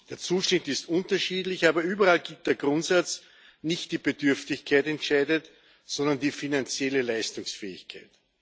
Der Zuschnitt ist unterschiedlich, aber überall gilt der Grundsatz Nicht die Bedürftigkeit entscheidet, sondern die finanzielle Leistungsfähigkeit.